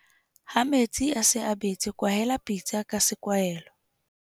Ha metsi a se a betse kwahela pitsa ka sekwahelo.